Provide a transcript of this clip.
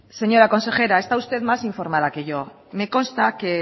señora consejera está usted más informada que yo